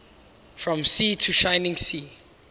from sea to shining sea